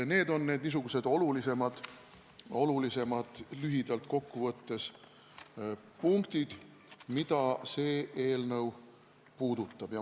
Need on lühidalt kokku võttes tähtsamad punktid, mida see eelnõu puudutab.